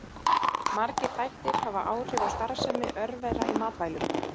Margir þættir hafa áhrif á starfsemi örvera í matvælum.